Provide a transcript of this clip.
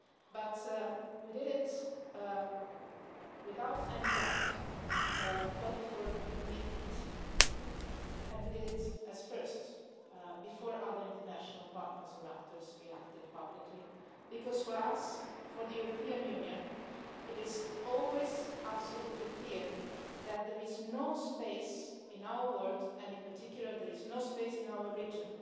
but we did it without hesitation, well before midnight, and we did it first, before other international partners or actors reacted publicly, because, for us, for the European Union, it is always absolutely clear that there is no space in our world, and in particular there is no space in our region,